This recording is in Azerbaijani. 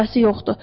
Həvəsi yoxdur.